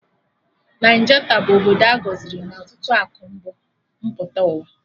Naijata bụ obodo a gọziri na ọtụtụ akụ mbu mpụta ụwa